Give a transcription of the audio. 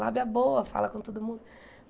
Lábia boa, fala com todo mundo.